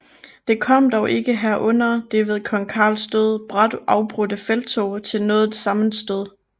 Det kom dog ikke her under det ved kong Carls død brat afbrudte felttog til noget sammenstød